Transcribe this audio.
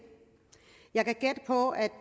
jeg kan gætte på at